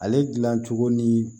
Ale dilan cogo ni